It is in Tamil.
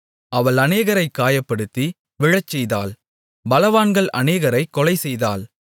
அவள் அநேகரைக் காயப்படுத்தி விழச்செய்தாள் பலவான்கள் அநேகரைக் கொலைசெய்தாள்